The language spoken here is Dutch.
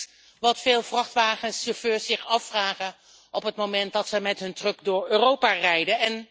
Dat is wat veel vrachtwagenchauffeurs zich afvragen op het moment dat ze met hun truck door Europa rijden.